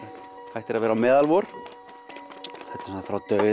hættir að vera meðal vor þetta er frá dauða